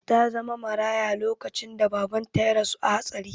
Ta zama maraya lokacin da babanta ya rasu a hatsari.